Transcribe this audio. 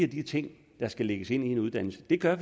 de ting der skal lægges ind i en uddannelse det gør